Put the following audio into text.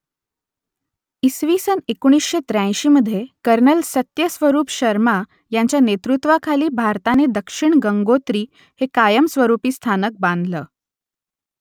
इसवी सन एकोणीसशे त्र्याऐंशीमधे कर्नल सत्यस्वरूप शर्मा यांच्या नेतृत्वाखाली भारताने दक्षिण गंगोत्री हे कायमस्वरूपी स्थानक बांधलं